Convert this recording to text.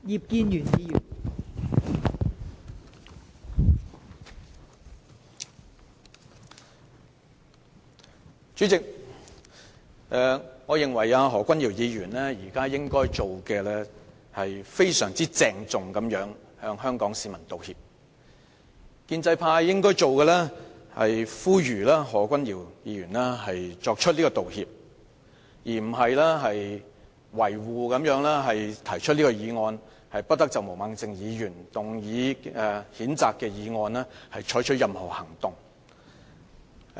代理主席，我認為何君堯議員應該非常鄭重地向香港市民道歉，而建制派則應呼籲何君堯議員道歉，而並非維護他，提出"不得就毛孟靜議員動議的譴責議案再採取任何行動"的議案。